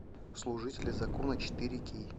служители закона четыре кей